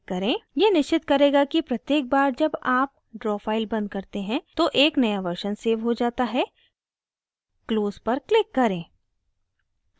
यह निश्चित करेगा कि प्रत्येक बार जब आप ड्रा फाइल बंद करते हैं तो एक नया वर्शन सेव हो जाता है close पर क्लिक करें